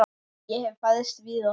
Ég hef fæðst víða.